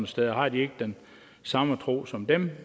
steder har de ikke den samme tro som dem